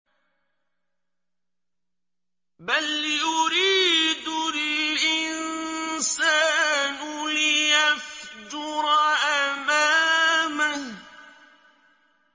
بَلْ يُرِيدُ الْإِنسَانُ لِيَفْجُرَ أَمَامَهُ